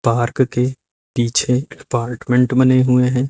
Park के पीछे apartment बने हुए हैं।